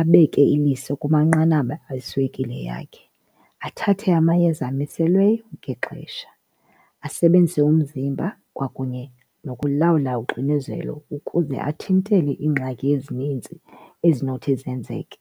abeke iliso kumanqanaba eswekile yakhe athathe amayeza amiselweyo ngexesha, asebenzise umzimba kwakunye nokulawula uxinezelo ukuze athintele iingxaki ezinintsi ezinothi zenzeke.